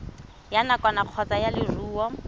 ya nakwana kgotsa ya leruri